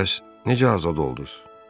Bəs necə azad olduz?